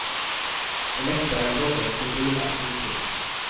På läktaren rådde en febril aktivitet.